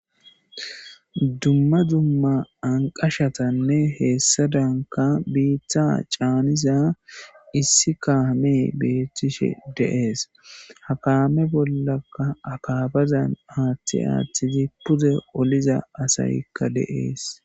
Dumma dumma anqashatanne heessadanka biitta caaniza issi kaame beettishe deees hakaame bollaka akabazan aaththi aaththizi puze oliza asaykka deees